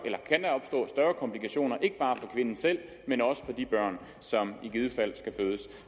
komplikationer ikke bare for kvinden selv men også for de børn som i givet fald skal fødes